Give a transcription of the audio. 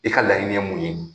I ka laɲini ye mun ye?